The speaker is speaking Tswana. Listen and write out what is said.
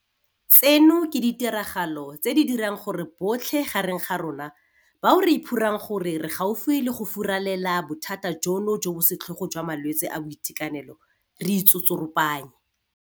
Tseno ke ditiragalo tse di dirang gore botlhe gareng ga rona bao re iphorang gore re gaufi le go furalela bothata jono jo bo setlhogo jwa malwetse a boitekanelo re itsotsoropanye.